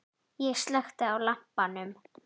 Ég slökkti á lampanum.